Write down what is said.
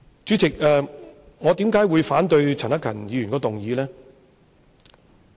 主席，我為甚麼反對陳克勤議員的議案？